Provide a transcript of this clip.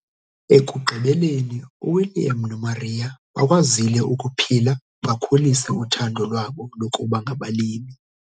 Ekugqibeleni uWilliam noMaria bakwazile ukuphila bakhulise uthando lwabo lokuba ngabalimi.